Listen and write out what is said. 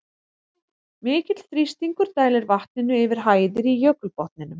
Mikill þrýstingur dælir vatninu yfir hæðir í jökulbotninum.